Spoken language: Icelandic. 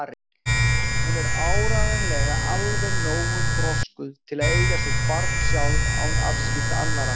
Hún er áreiðanlega alveg nógu þroskuð til að eiga sitt barn sjálf án afskipta annarra.